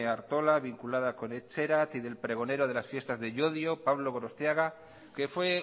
artola vinculada con etxerat y del pregonero de las fiestas de llodio pablo gorostiaga que fue